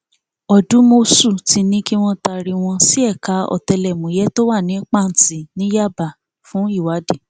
ọdùmọṣù ti ní kí wọn taari wọn sí ẹka ọtẹlẹmúyẹ tó wà ní pàǹtì ní yábà fún ìwádìí